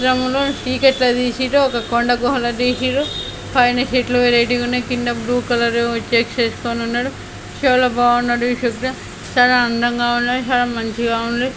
చీకటిలో తిసిర్రు ఒక కొండ గుహల తిసిర్రు పైనా సీట్లు వెరైటీగా ఉన్నాయ్ కింద బ్లూ కలరు షర్ట్ వేసుకొని ఉన్నాడు చాలా అందంగా ఉన్నాది చాలా మంచిగా ఉంది.